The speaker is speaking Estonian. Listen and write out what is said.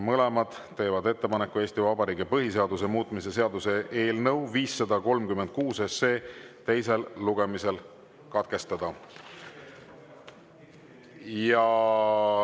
Mõlemad teevad ettepaneku Eesti Vabariigi põhiseaduse muutmise seaduse eelnõu 536 teine lugemine katkestada.